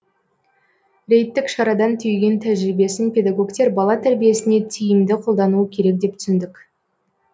рейдтік шарадан түйген тәжірибесін педагогтер бала тәрбиесіне тиімді қолдануы керек деп түсіндік